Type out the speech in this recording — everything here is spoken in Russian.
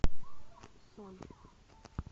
соль